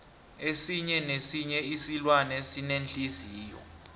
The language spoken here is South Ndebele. esinye nesinye isilwane sinenhliziyo